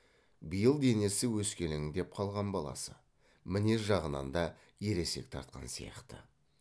биыл денесі өскелеңдеп қалған баласы мінез жағынан да ересек тартқан сияқты